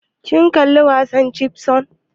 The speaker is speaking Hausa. Kin kalla wasan chipmunks?